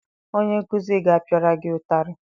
Onye nkụzi gị apiara gị utari?